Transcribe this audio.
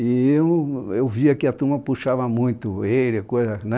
E eu eu via que a turma puxava muito ele, a coisa, né?